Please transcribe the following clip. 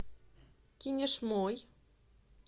кинешмой